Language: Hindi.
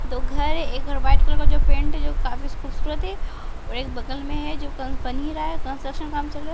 दो घर है एक घर व्हाइट कलर का जो पेंट जो काफिस खूबसूरत है और एक बगल में है जो कन बन ही रहा है कंस्ट्रक्शन काम चल रा --